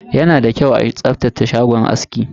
Yana da kyau a tsaftace shagon aski.